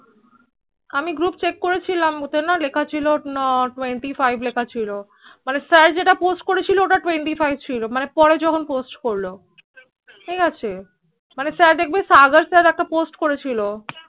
আমি group করেছিলাম ও তে না লেখা ছিল ও তে না Twenty five লেখা ছিল মানে sir যেই টা post করেছিল সেইটা Twenty five ছিল মানে পরে যখন post করল মানে ঠিক আছে মানে স্যার দেখবে Sagar Sir একটা, post করেছিল